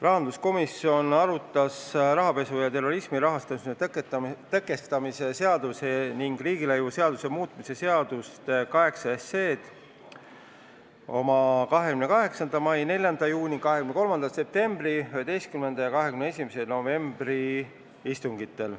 Rahanduskomisjon arutas rahapesu ja terrorismi rahastamise tõkestamise seaduse ning riigilõivuseaduse muutmise seaduse eelnõu 8 oma 28. mai, 4. juuni, 23. septembri ning 11. ja 21. novembri istungitel.